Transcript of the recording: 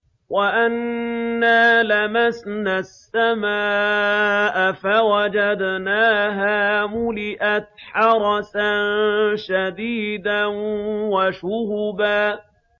وَأَنَّا لَمَسْنَا السَّمَاءَ فَوَجَدْنَاهَا مُلِئَتْ حَرَسًا شَدِيدًا وَشُهُبًا